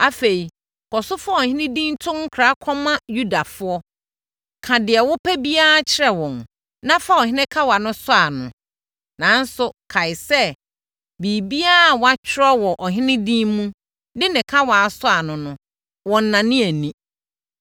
Afei, kɔ so fa ɔhene din to nkra kɔma Yudafoɔ, ka deɛ wopɛ biara kyerɛ wɔn, na fa ɔhene kawa no sɔ ano. Nanso, kae sɛ, biribiara a wɔatwerɛ wɔ ɔhene din mu de ne kawa asɔ ano no, wɔnnane ani.”